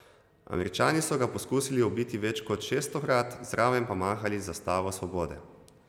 Američani so ga poskusili ubiti več kot šeststokrat, zraven pa mahali z zastavo svobode.